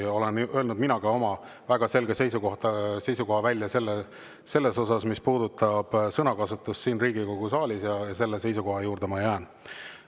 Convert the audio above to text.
Ja olen öelnud välja ka oma väga selge seisukoha sõnakasutuse kohta siin Riigikogu saalis, ja selle seisukoha juurde ma jään.